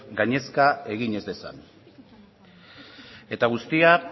gainezka egin ez dezan eta guztia